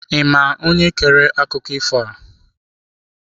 Ị ma onye kere akụkọ ifo a?